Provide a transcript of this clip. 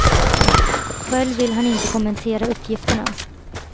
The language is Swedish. Själv vill han inte kommentera uppgifterna.